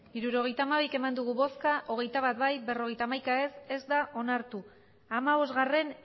hirurogeita hamabi bai hogeita bat ez berrogeita bat ez da onartu hamabostgarrena